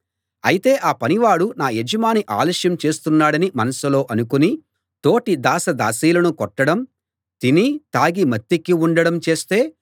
అయితే ఆ పనివాడు నా యజమాని ఆలస్యం చేస్తున్నాడని మనసులో అనుకుని తోటి దాసదాసీలను కొట్టడం తిని తాగి మత్తెక్కి ఉండడం చేస్తే